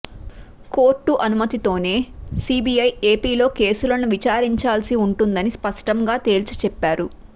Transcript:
court అనుమతి తోనే CBI ఏపిలో కేసులను విచారించాల్సి ఉంటుందని స్పష్టం గా తేల్చి చెప్పారు